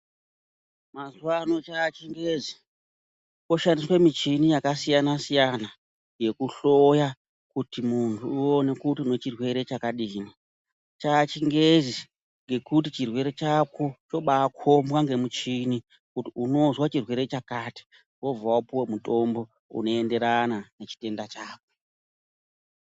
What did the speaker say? Mazuvano chaachingezi koshandiswe michini yakasiyana-siyana yekuhloya kuti munhu uone kuti unechirwere chakadini. Chaachingezi ngekuti chirwere chako chobaakukombwe ngemuchini kuti unozwe chirwere chakati, wobva wapuwa mutombo unoenderana nechitenda chako.